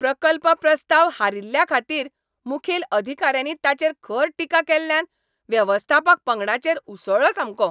प्रकल्प प्रस्ताव हारिल्ल्याखातीर मुखेल अधिकाऱ्यांनी ताचेर खर टिका केल्ल्यान वेवस्थापक पंगडाचेर उसळ्ळो सामको.